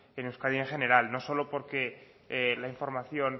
en euskadi en general no solo porque la información